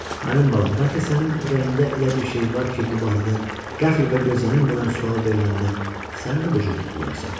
Mənim balam, bəlkə sənin ürəyində elə bir şey var ki, bu barədə qəfil və gözlənilmədən sual veriləndə sən də bu cür tutularsan.